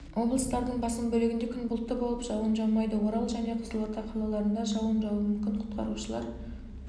облыстардың басым бөлігінде күн бұлтты болып жауын жаумайды орал және қызылорда қалаларында жауын жаууы мүмкін құтқарушылар